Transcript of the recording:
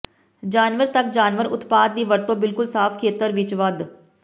ਜਾਨਵਰ ਤੱਕ ਜਾਨਵਰ ਉਤਪਾਦ ਦੀ ਵਰਤੋ ਬਿਲਕੁਲ ਸਾਫ਼ ਖੇਤਰ ਵਿੱਚ ਵਧ